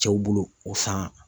Cɛw bolo o san